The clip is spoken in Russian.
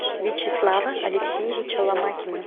вячеслава алексеевича ломакина